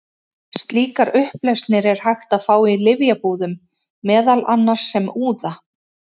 Slíkar upplausnir er hægt að fá í lyfjabúðum, meðal annars sem úða.